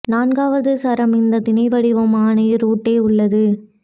நான்காவது சரம் இந்த திணை வடிவம் ஆணை ரூட் ஏ உள்ளது